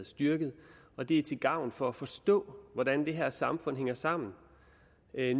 styrket og det er til gavn for at forstå hvordan det her samfund hænger sammen